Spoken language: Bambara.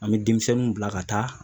An bɛ denmisɛnninw bila ka taa